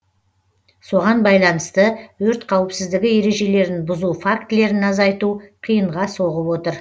соған байланысты өрт қауіпсіздігі ережелерін бұзу фактілерін азайту қиынға соғып отыр